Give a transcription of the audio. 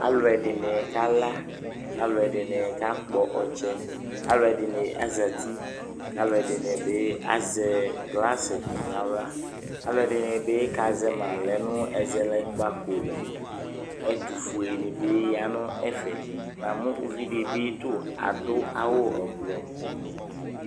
Alʋɛdɩnɩ kala kʋ alʋɛdɩnɩ kakpɔ ɔtsɛ Alʋɛdɩnɩ azati kʋ alʋɛdɩnɩ bɩ azɛ glasɩ nʋ aɣla Alʋɛdɩnɩ bɩ kazɛ ma lɛ nʋ ɛzɛlɛkpako li Ɛtʋfuenɩ bɩ ya nʋ ɛfɛ Namʋ uvi dɩ bɩ tʋ adʋ awʋ ɔvlɔ